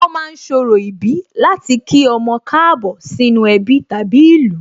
Wón ma ń ṣorò ìbí láti kí ọmọ Káàbọ̀ sínú ẹbí tàbí ìlú